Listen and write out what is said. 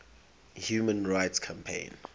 human rights campaign